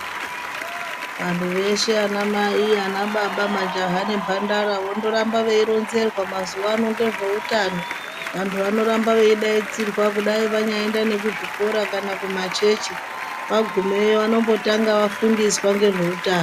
Vantu veshe ana mai ana baba majaha nemhandara vondoramba veironzerwa mazuwa anongezveutano vantu vanoramba veidaidzirwa kudai vanyaenda kuzvikora kana kumachechi vagumeyo vanombotanga vafundiswa ngezveutano.